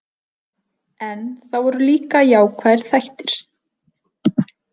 En það voru líka jákvæðir þættir.